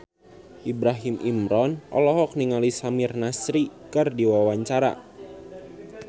Ibrahim Imran olohok ningali Samir Nasri keur diwawancara